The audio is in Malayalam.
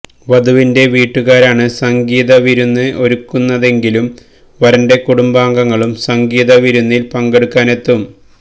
വധുവിന്റെ വീട്ടുകാരാണ് സംഗീത് വിരുന്ന് ഒരുക്കുന്നതെങ്കിലും വരന്റെ കുടുബാംഗങ്ങളും സംഗീത് വിരുന്നില് പങ്കെടുക്കാനെത്തും